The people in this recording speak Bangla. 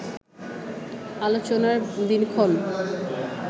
আলোচনার দিনক্ষণ